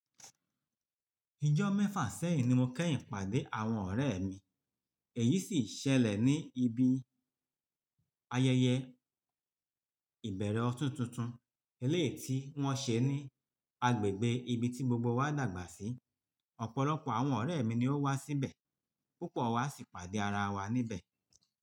Ìjọ́ mẹ́fà sẹ́yìn ni mo kẹ́yìn pàdé àwọn ọ̀rẹ́ mi, èyí sì ṣẹlẹ̀ ní ibi ayẹyẹ ìbẹ̀rẹ̀ ọdún tuntun eléyìí ti wọ́n ṣe ní agbègbè ibi tí gbogbo wa dàgbà sí. Ọ̀pọ̀lọpọ̀ àwọn ọ̀rẹ́ mi ni ó wá síbẹ̀, púpọ̀ wa sì pàdé ara wa níbẹ̀.